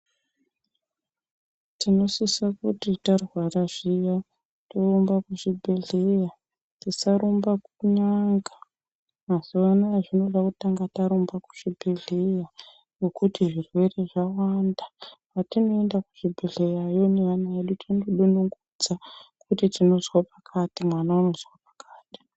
Tinosisa kuti tarwara zviya, torumba kuchibhedhleya, tisarumba kun'anga. Mazuvano zvinoda kutanga tarumba kuzvibhedhleya nekuti zvirwere zvawanda. Patinoenda kuzvibhedhleyayo vevana vedu tindodonongodza kuti tinozwa pakati, mwana unozwa pakati.